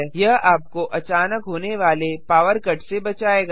यह आपको अचानक होने वाले पॉवर कट से बचाएगा